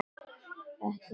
Ekki þekki ég þjó þennan.